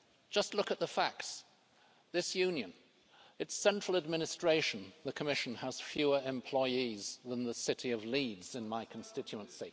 Just look at the facts this Union, its central administration, the Commission, has fewer employees than the city of Leeds in my constituency.